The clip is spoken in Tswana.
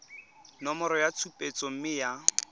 nomoro ya tshupetso mme ya